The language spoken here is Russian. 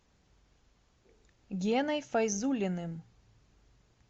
геной файзуллиным